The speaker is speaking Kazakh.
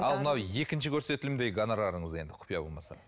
ал мынау екінші көрсетілімдегі гонорарыңыз енді құпия болмаса